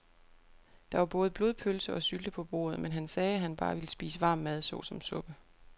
Der var både blodpølse og sylte på bordet, men han sagde, at han bare ville spise varm mad såsom suppe.